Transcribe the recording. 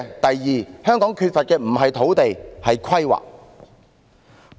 第二，香港缺乏的不是土地而是規劃。